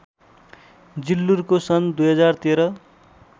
जिल्लुरको सन् २०१३